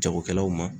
Jagokɛlaw ma